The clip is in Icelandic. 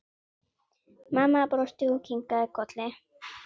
Mamma brosti og kinkaði kolli.